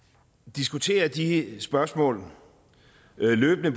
diskuterer jeg de spørgsmål løbende